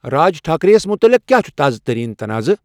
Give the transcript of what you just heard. راج ٹھاکرے یس مُتلِق کیا چُھ تازٕ ترین تنازعہ ؟